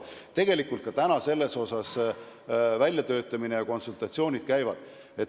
Tegelikult konsultatsioonid käivad.